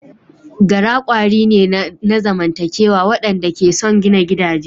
Gara kwari ne na zamantakewa waɗanda ke son gina gidaje.